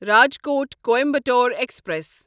Rajkot Coimbatore express